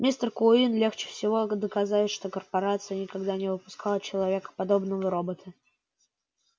мистер куинн легче всего доказать что корпорация никогда не выпускала человекоподобного робота